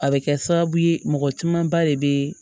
A bɛ kɛ sababu ye mɔgɔ camanba de bɛ